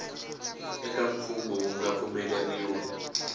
eka mfungho wu nga pfumeleriwa